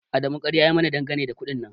Adamu ƙarya ya yi mana dangane da kuɗin nan